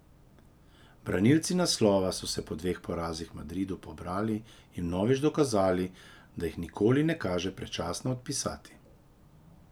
Branilci naslova so se po dveh porazih v Madridu pobrali in vnovič dokazali, da jih nikoli ne kaže predčasno odpisati.